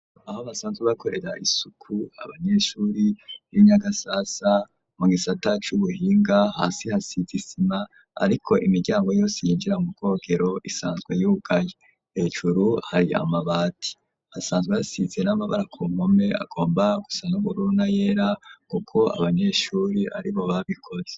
Aho basanzwe bakorera isuku abanyeshure b'inyagasasa mu gisata c'ubuhinga hasi hasi hasize isima ariko imiryango yose yinjira mu kogero isanzwe yugaye hejuru hari amabati hasanzwe hasize n'amabara kumpome agomba gusa n'ubururu na yera kuko abanyeshure ari bo babikoze.